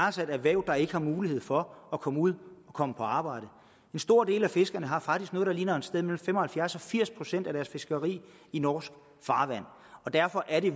altså et erhverv der ikke har mulighed for at komme ud og komme på arbejde en stor del af fiskerne har faktisk noget der ligner et sted mellem fem og halvfjerds og firs procent af deres fiskeri i norsk farvand og derfor er det